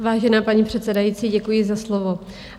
Vážená paní předsedající, děkuji za slovo.